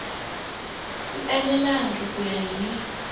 wu enelangi ku ya hi